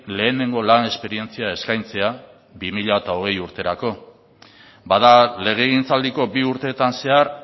lehenengo lan esperientzia eskaintzea bi mila hogei urterako bada legegintzaldiko bi urteetan zehar